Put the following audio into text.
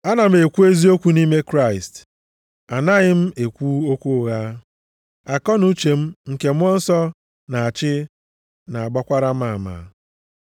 Ana m ekwu eziokwu nʼime Kraịst. Anaghị m ekwu okwu ụgha. Akọnuche m nke Mmụọ Nsọ na-achị na-agbakwara m ama.